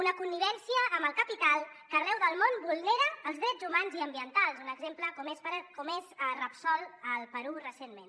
una connivència amb el capital que arreu del món vulnera els drets humans i ambientals un exemple com és repsol al perú recentment